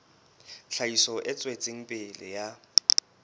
tlhahiso e tswetseng pele ya